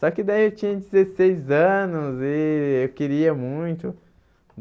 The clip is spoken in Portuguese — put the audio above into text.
Só que daí eu tinha dezesseis anos e eu queria muito.